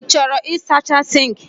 Ị chọrọ ịsacha sink?